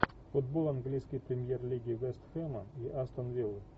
футбол английской премьер лиги вест хэма и астон виллы